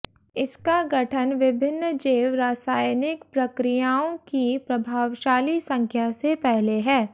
इसका गठन विभिन्न जैव रासायनिक प्रक्रियाओं की प्रभावशाली संख्या से पहले है